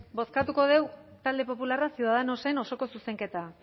bozkatuko dugu talde popularra ciudadanosen osoko zuzenketa